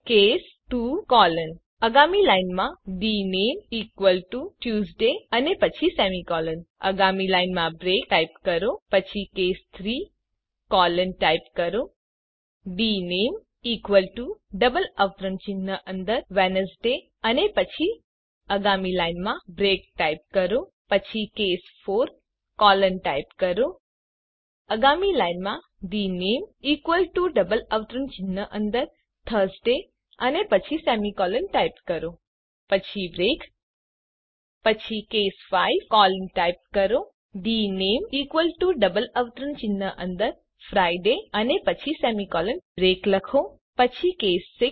પછી ટાઇપ કરો case 2 colon આગામી લાઇનમાં ડીનેમ ઇકવલ ટુ ટ્યુઝડે અને પછી સેમીકોલન આગામી લાઇનમાં બ્રેક ટાઇપ કરો પછી કેસ 3 કોલન ટાઇપ કરો આગામી લાઇનમાં ડીનેમ ઇકવલ ટુ ડબલ અવતરણ ચિહ્ન અંદર વેડનેસડે અને પછી સેમીકોલન ટાઇપ કરો આગામી લાઇનમાં બ્રેક ટાઇપ કરો પછી કેસ 4 કોલન ટાઇપ કરો આગામી લાઇનમાં ડીનેમ ઇકવલ ટુ ડબલ અવતરણ ચિહ્ન અંદર થર્સડે અને પછી સેમીકોલન ટાઇપ કરો 000332 000323 પછી બ્રેક પછી કેસ 5 કોલન ટાઇપ કરો ડીનેમ ઇકવલ ટુ ડબલ અવતરણ ચિહ્ન અંદર ફ્રિડે અને પછી સેમીકોલન ટાઇપ કરો પછી બ્રેક લખો